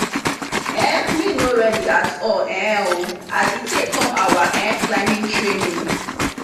um me no ready at all um o as e take come our um climbing training